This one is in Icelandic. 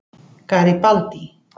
Garibaldi